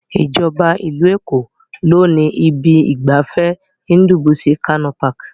Ìjọba ìlú Èkó ló ni ibi ìgbafẹ́ Ndubuisi Kanu Park.